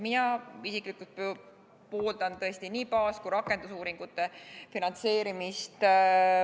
Mina isiklikult pooldan nii baas- kui ka rakendusuuringute finantseerimist.